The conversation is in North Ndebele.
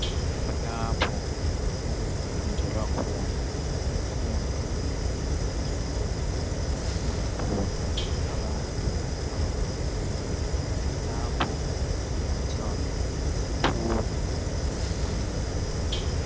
Kulapho okufundela khona imfundo yangaphezulu okufunda khona abantu abakhulileyo lapho kunathwa isiphuzo setiye.